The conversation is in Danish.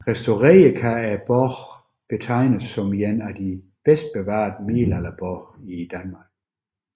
Restaureret kan borgen betegnes som en af de bedst bevarede middelalderborge i Danmark